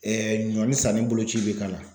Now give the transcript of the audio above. ɲɔni sanni boloci bɛ k'a la.